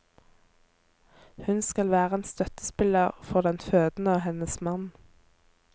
Hun skal være en støttespiller for den fødende og hennes mann.